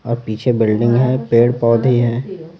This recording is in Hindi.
और पीछे बिल्डिंग है पेड़ पौधे हैं।